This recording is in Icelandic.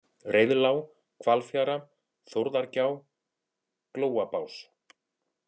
Reiðlág, Hvalfjara, Þórðargjá, Glóabás